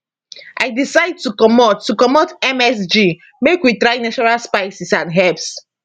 i decide to comot to comot msg make we try natural spices and herbs